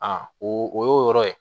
A o y'o yɔrɔ ye